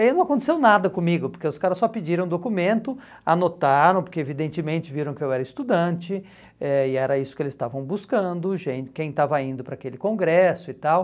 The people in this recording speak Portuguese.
E não aconteceu nada comigo, porque os caras só pediram o documento, anotaram, porque evidentemente viram que eu era estudante, eh e era isso que eles estavam buscando, gente quem estava indo para aquele congresso e tal.